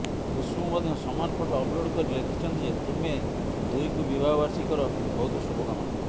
ଖୁସବୁ ମଧ୍ୟ ସମାନ photo upload କରି ଲେଖିଛନ୍ତି ଯେ ତୁମେ ଦୁହିଁକୁ ବିବାହ ବାର୍ଷିକର ବହୁତ ଶୁଭକାମନା